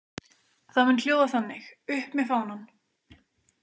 Það mun hljóða þannig: Upp með fánann.